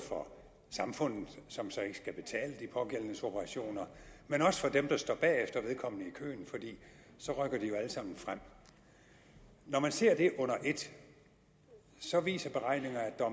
for samfundet som så ikke skal betale de pågældendes operationer men også for dem der står bagefter vedkommende i køen for så rykker de jo alle sammen frem når man ser det under et så viser beregninger at der